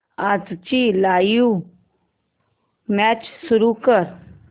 आजची live match सुरू कर